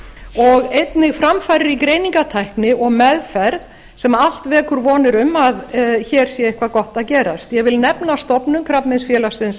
og einnig framfarir í greiningartækni og meðferð sem allt vekur vonir um að hér sé eitthvað gott að gerast ég vil nefna stofnun krabbameinsfélagsins